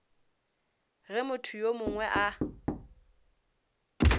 ge motho yo mongwe a